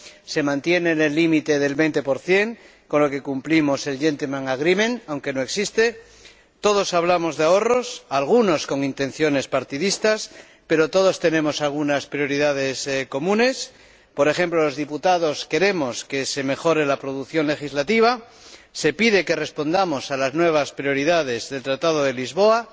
Se mantiene en el límite del 20 con lo que cumplimos el gentlemen's agreement aunque no existe todos hablamos de ahorros, algunos con intenciones partidistas, pero todos tenemos algunas prioridades comunes por ejemplo, los diputados queremos que se mejore la producción legislativa, se pide que respondamos a las nuevas prioridades del Tratado de Lisboa,